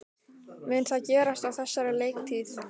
Mun það gerast á þessari leiktíð?